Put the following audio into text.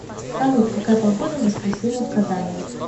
салют какая погода в воскресенье в казани